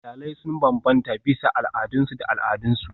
Iyalai sun bambanta bisa al'adunsu da al'adunsu.